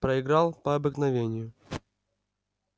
проиграл по обыкновению